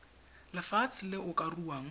lefatshe le o ka ruang